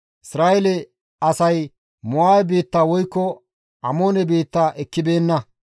«Isra7eele asay Mo7aabe biitta woykko Amoone biitta ekkibeenna.